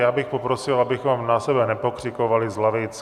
Já bych poprosil, abychom na sebe nepokřikovali z lavic.